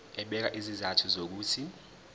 ebeka izizathu zokuthi